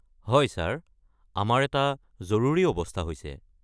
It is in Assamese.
হয় ছাৰ, আমাৰ এটা জৰুৰী অৱস্থা হৈছে।